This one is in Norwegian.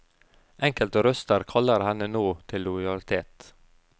Enkelte røster kaller henne nå til lojalitet.